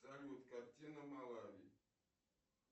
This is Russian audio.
салют картина малави